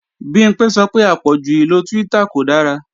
Bimpé sọ pé àpọ̀jù ìlo Twitter kò dára